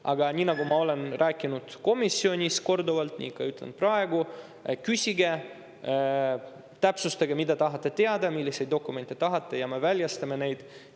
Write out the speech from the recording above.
Aga nii nagu ma olen rääkinud korduvalt komisjonis, nii ütlen ka praegu, et küsige, täpsustage, mida te tahate teada, milliseid dokumente tahate, ja me väljastame need.